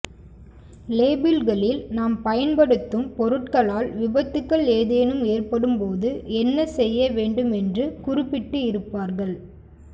லேபிள்களில் நாம் பயன்படுத்தும் பொருட்களால் விபத்துகள் ஏதேனும் ஏற்படும் போது என்ன செய்ய வேண்டும் என்று குறிப்பிட்டு இருப்பார்கள்